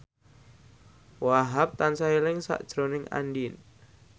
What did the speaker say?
Wahhab tansah eling sakjroning Andien